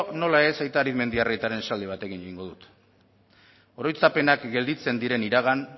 nola ez aita arizmendiarrietaren esaldi batekin egingo dut oroitzapenak gelditzen diren iragan